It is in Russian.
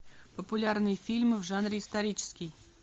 популярные фильмы в жанре исторический